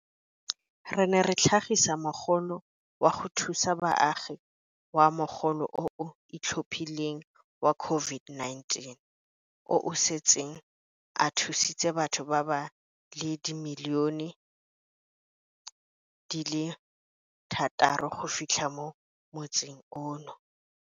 Re ne ra tlhagisa Mogolo wa go Thusa Baagi wa Mogolo o o Itlhophileng wa COVID-19, o o setseng o thusitse batho ba le dimilione di le thataro go fitlha mo motsing ono.